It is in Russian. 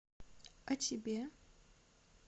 а тебе